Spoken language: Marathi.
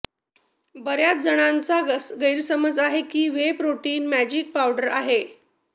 बऱ्याच जणांचा गैरसमज आहे की व्हे प्रोटीन मॅजिक पावडर आहे